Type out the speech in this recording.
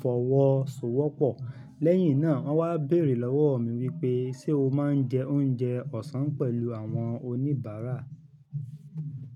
fọwọ́ sọ wọ́pọ̀. Lẹ́yìn náà, wón wá bèèrè lọ́wọ́ mi wípé ṣe o máa ń jẹ oúnjẹ ọ̀sán pẹ̀lú àwọn oníbàárà?